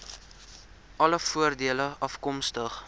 alle voordele afkomstig